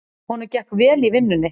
Honum gekk vel í vinnunni.